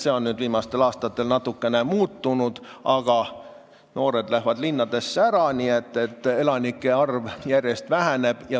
See arv on viimastel aastatel natukene muutunud, aga noored lähevad ära, nii et elanike arv järjest väheneb.